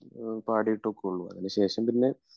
പാടിയിട്ടുമൊക്കെയുള്ളൂ അതിന് ശേഷം പിന്നെ